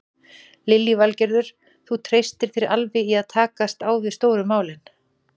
Lillý Valgerður: Þú treystir þér alveg í að takast á við stóru málin?